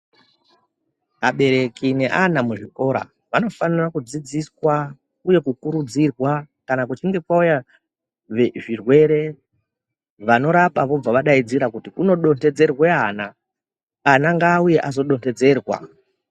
Abereki neana muzvikora vanofanira kudzidziswa uye kukurudzirwa kana pachinge pauya zvirwere vanorapa vobva vadaidzira kuti kuno dondodzerwe ana, ana ngaauye vazodo nhodzerwa.